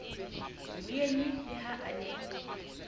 mmuele le ha a ne